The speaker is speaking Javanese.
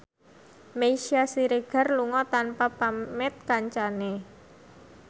Meisya Siregar lunga tanpa pamit kancane